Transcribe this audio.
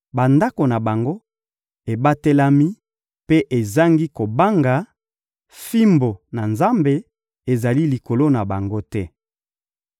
Bandako na bango ebatelami mpe ezangi kobanga, fimbu na Nzambe ezali likolo na bango te.